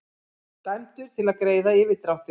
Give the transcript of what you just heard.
Dæmdur til að greiða yfirdráttinn